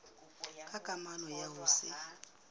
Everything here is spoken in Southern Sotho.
ka kamano ya ho se